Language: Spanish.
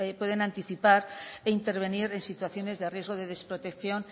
pueden anticipar e intervenir en situaciones de riesgo de desprotección